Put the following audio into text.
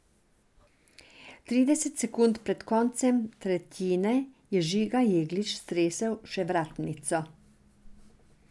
Trideset sekund pred koncem tretjine je Žiga Jeglič stresel še vratnico.